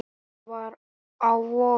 Það var á vorin.